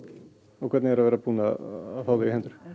og hvernig er að vera búin að fá þau í hendur